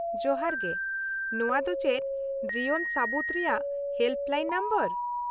-ᱡᱚᱦᱟᱨ ᱜᱮ , ᱱᱚᱶᱟ ᱫᱚ ᱪᱮᱫ ᱡᱤᱭᱚᱱ ᱥᱟᱹᱵᱩᱛ ᱨᱮᱭᱟᱜ ᱦᱮᱞᱯᱞᱟᱭᱤᱱ ᱱᱚᱢᱵᱚᱨ ?